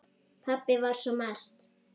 Pabbi var svo margt.